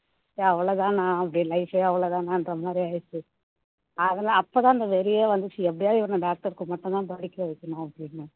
சரி அவ்ளோ தானா life ஏ அவ்ளோ தானான்ற மாதிரி ஆகிடுச்சு அதன்னா அப்போ தான் அந்த வெறியே வந்துச்சு எப்படியாவது இவனை doctor க்கு மட்டும் தான் படிக்க வைக்கணும் அப்படின்னு